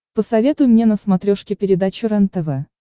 посоветуй мне на смотрешке передачу рентв